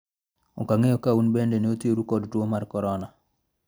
ok ang'eyo ka un bende ne othiru kod tuo mar korona